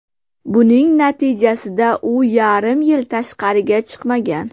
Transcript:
Buning natijasida u yarim yil tashqariga chiqmagan.